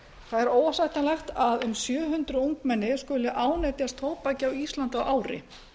það er óásættanlegt að um sjö hundruð ungmenni skuli ánetjast tóbaki á íslandi á ári